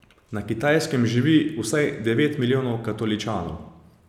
Na Kitajskem živi vsaj devet milijonov katoličanov.